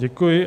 Děkuji.